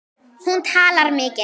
Hún talar mikið.